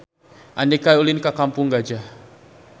Andika ulin ka Kampung Gajah